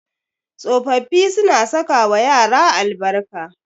Tsofaffi suna sakawa yara albarka.